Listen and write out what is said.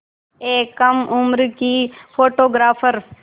एक कम उम्र की फ़ोटोग्राफ़र